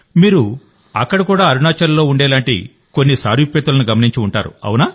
మీరు అక్కడ కూడా అరుణాచల్లో ఉండేలాంటి కొన్ని సారూప్యతలను గమనించి ఉంటారు